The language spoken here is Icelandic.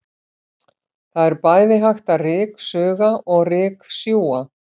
Það er bæði hægt að ryksuga og ryksjúga.